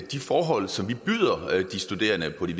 de forhold som vi byder de studerende på de